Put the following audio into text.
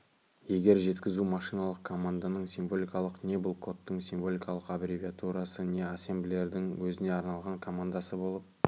егер жеткізу машиналық команданың символикалық не бұл кодтың символикалық аббревиатурасы не ассемблердің өзіне арналған командасы болып